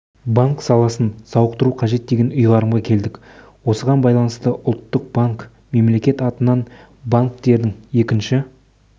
банк саласын сауықтыру қажет деген ұйғарымға келдік осыған байланысты ұлттық банк мемлекет атынан банктердің екінші